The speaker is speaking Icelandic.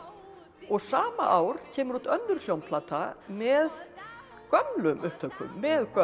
sama ár kemur út önnur hljómplata með gömlum upptökum með gömlu